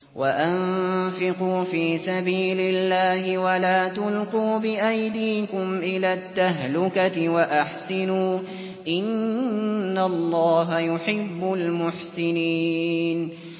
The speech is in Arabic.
وَأَنفِقُوا فِي سَبِيلِ اللَّهِ وَلَا تُلْقُوا بِأَيْدِيكُمْ إِلَى التَّهْلُكَةِ ۛ وَأَحْسِنُوا ۛ إِنَّ اللَّهَ يُحِبُّ الْمُحْسِنِينَ